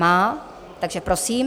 Má, takže prosím.